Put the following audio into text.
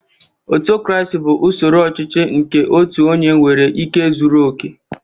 Autocaracy bụ usoro ọchịchị nke otu onye nwere ike zuru oke